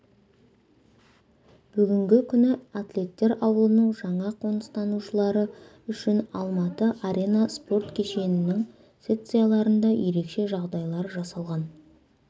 бүгінгі күні атлеттер ауылының жаңа қоныстанушылары үшін алматы арена спорт кешенінің секцияларында ерекше жағдайлар жасалған